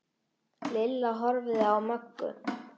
Lilla horfði á Möggu.